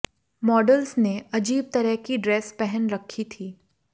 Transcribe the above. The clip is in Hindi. मॉडल्स ने अजीब तरह की ड्रेस पहन रखी थी